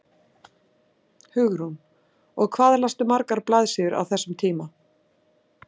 Hugrún: Og hvað lastu margar blaðsíður á þessum tíma?